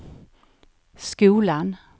skolan